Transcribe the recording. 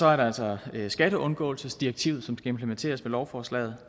er der altså skatteundgåelsesdirektivet som skal implementeres ved lovforslaget